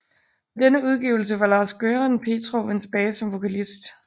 På denne udgivelse var Lars Göran Petrov vendt tilbage som vokalist